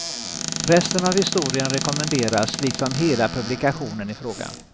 Resten av historien rekommenderas liksom hela publikationen i fråga.